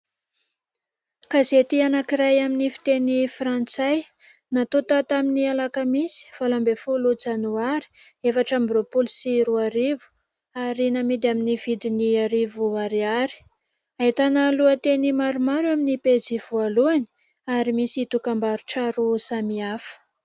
Gazety anankiray amin'ny fiteny frantsay natonta tamin'ny alakamisy valo ambin'ny folo janoary efatra ambin'ny roapolo sy roarivo ary namidy amin'ny vidin'arivo ariary, ahitana lohanteny Maromaro amin'ny pejy voalohany ary misy dokam-barotra roa samihafa